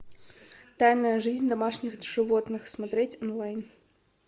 тайная жизнь домашних животных смотреть онлайн